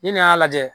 Ni nin y'a lajɛ